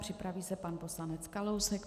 Připraví se pan poslanec Kalousek.